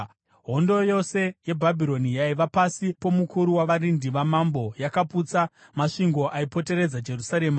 Hondo yose yeBhabhironi yaiva pasi pomukuru wavarindi vamambo yakaputsa masvingo aipoteredza Jerusarema.